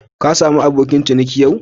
Ka samu abokin ciniki yau?